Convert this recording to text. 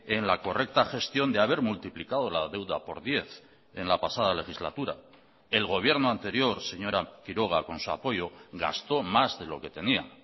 en la correcta gestión de haber multiplicado la deuda por diez en la pasada legislatura el gobierno anterior señora quiroga con su apoyo gastó más de lo que tenía